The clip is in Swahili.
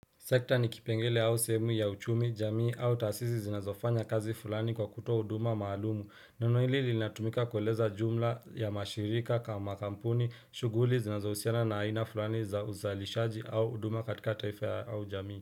Sekta ni kipengele au sehemu ya uchumi, jamii au tasisi zinazofanya kazi fulani kwa kutoa huduma maalumu. Neno hili linatumika kueleza jumla ya mashirika kama kampuni, shughuli zinazohusiana na aina fulani za uzalishaji au huduma katika taifa au jamii.